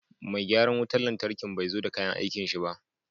Mai gyaran wutan lantarkin bai zo da kayan aikin shi ba.